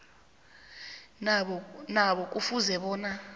nabo kufuze bona